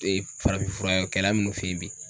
farafinfurakɛla minnu fe yen bi